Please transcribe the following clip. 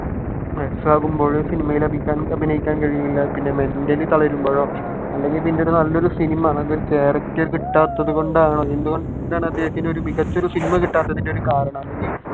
വയസ്സാകുമ്പോൾ സിനിമയിൽ അഭിനയഅഭിനയിക്കാൻ കഴിയൂല പിന്നെ mentally തളരുമ്പോളോ അല്ലെങ്കിൽ പിന്നെ നല്ല ഒരു സിനിമ നല്ല ഒരു character കിട്ടാത്തതുകൊണ്ടാണോ എന്തുകൊണ്ടിട്ടാണ് അദ്ദേഹത്തിന് മികച്ച ഒരു സിനിമ കിട്ടാത്തതിന്റെ കാരണം അല്ലെങ്കിൽ